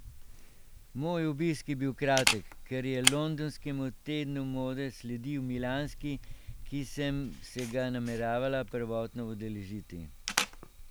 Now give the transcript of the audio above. Moj obisk je bil kratek, ker je londonskemu tednu mode sledil milanski, ki sem se ga nameravala prvotno udeležiti.